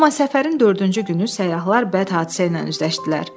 Amma səfərin dördüncü günü səyyahlar bəd hadisə ilə üzləşdilər.